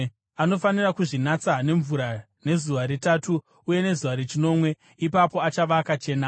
Anofanira kuzvinatsa nemvura nezuva retatu uye nezuva rechinomwe; ipapo achava akachena.